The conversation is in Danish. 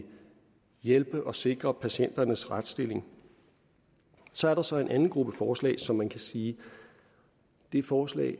hjælpe og sikre patienternes retsstilling så er der så en anden gruppe forslag som man kan sige er forslag